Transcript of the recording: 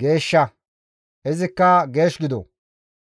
geeshsha; izikka geesh gido.